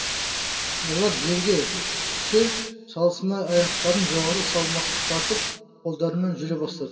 олар жерге түсе салысыма аяқтарын жоғары салмақтатып қолдарымен жүре бастады